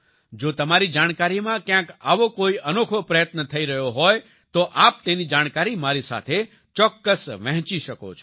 જો તમારી જાણકારીમાં ક્યાંક આવો કોઈ અનોખો પ્રયત્ન થઈ રહ્યો હોય તો આપ તેની જાણકારી મારી સાથે ચોક્કસ વહેંચી શકો છો